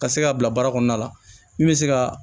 Ka se ka bila baara kɔnɔna la min bɛ se ka